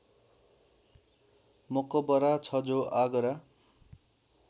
मकबरा छ जो आगरा